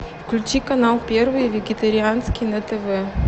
включи канал первый вегетарианский на тв